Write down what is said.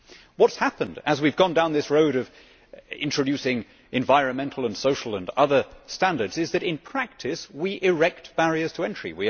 What has happened as we have gone down this road of introducing environmental, social and other standards is that, in practice, we erect barriers to entry.